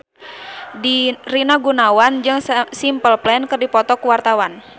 Rina Gunawan jeung Simple Plan keur dipoto ku wartawan